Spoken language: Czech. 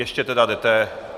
Ještě tedy jdete?